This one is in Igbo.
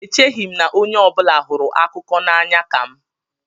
Echeghị m na onye ọ bụla hụrụ akụkọ n'anya ka m.